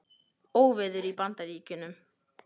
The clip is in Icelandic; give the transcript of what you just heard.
Óveður í Bandaríkjunum